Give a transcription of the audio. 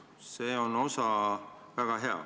See osa on väga hea.